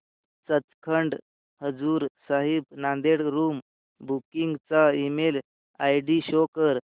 Sachkhand Hazur Sahib Nanded room booking चा email ID show कर